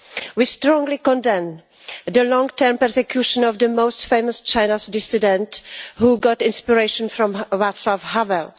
We strongly condemn the long term persecution of this most famous Chinese dissident who got inspiration from Václav Havel.